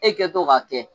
E kɛtɔ k'a kɛ